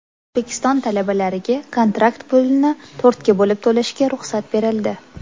O‘zbekiston talabalariga kontrakt pulini to‘rtga bo‘lib to‘lashga ruxsat berildi.